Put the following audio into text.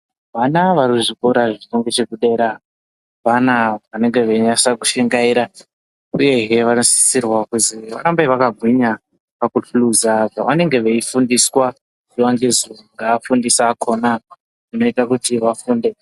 Vana varikuzvikora zviringechekudera vana vanenge veinasa kushingaira uye he vanosisirwa kuzi varambe vakagwinya pakuhluza zvavanenge veifundiswa zuwa ngezuwa ngevafundisi akona zvinoita kuti vafunde.